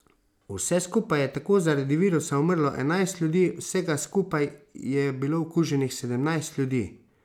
Vse skupaj je tako zaradi virusa umrlo enajst ljudi, vsega skupaj je bilo okuženih sedemnajst ljudi.